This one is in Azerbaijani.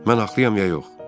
Mən haqlıyam, ya yox?